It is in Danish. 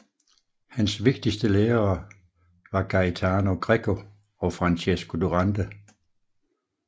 Hans vigtigste lærere var Gaetano Greco og Francesco Durante